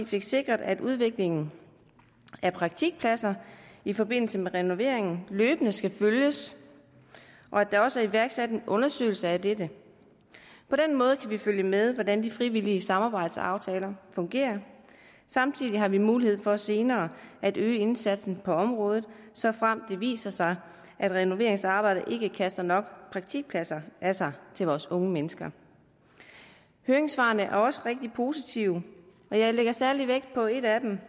fik sikret at udviklingen af praktikpladser i forbindelse med renoveringen løbende skal følges og at der også er iværksat en undersøgelse af dette på den måde kan vi følge med i hvordan de frivillige samarbejdsaftaler fungerer samtidig har vi mulighed for senere at øge indsatsen på området såfremt det viser sig at renoveringsarbejdet ikke kaster nok praktikpladser af sig til vores unge mennesker høringssvarene er også rigtig positive og jeg lægger særlig vægt på et af dem